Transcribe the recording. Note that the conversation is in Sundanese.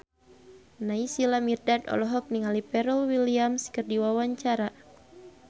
Naysila Mirdad olohok ningali Pharrell Williams keur diwawancara